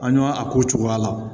An ɲ'a a ko cogoya la